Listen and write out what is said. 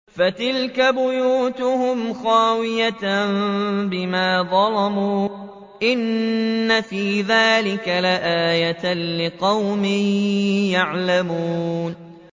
فَتِلْكَ بُيُوتُهُمْ خَاوِيَةً بِمَا ظَلَمُوا ۗ إِنَّ فِي ذَٰلِكَ لَآيَةً لِّقَوْمٍ يَعْلَمُونَ